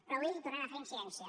però avui hi tornem a fer incidència